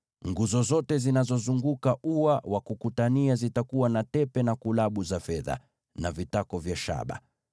Nguzo zote zinazozunguka ua zitakuwa na tepe na kulabu za fedha, na vitako vya shaba.